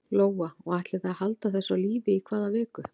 Lóa: Og ætlið þið að halda þessu á lífi í hvað viku?